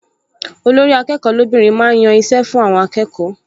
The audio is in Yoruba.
Olórí-akẹ́kọ̀ọ́ lóbìnrin máa ń yan iṣẹ́ fún àwọn akẹ́kọ̀ọ